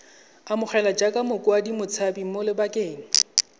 amogelwa jaaka motshabi mo lebakeng